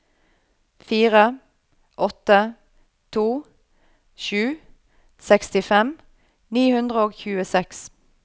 fire åtte to sju sekstifem ni hundre og tjueseks